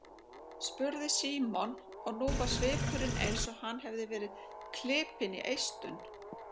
spurði Símon og nú var svipurinn eins og hann hefði verið klipinn í eistun.